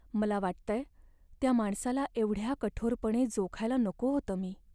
मला वाटतंय त्या माणसाला एवढ्या कठोरपणे जोखायला नको होतं मी.